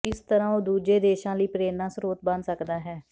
ਇਸ ਤਰ੍ਹਾਂ ਉਹ ਦੂਜੇ ਦੇਸ਼ਾਂ ਲਈ ਪ੍ਰੇਰਣਾ ਸਰੋਤ ਬਣ ਸਕਦਾ ਹੈ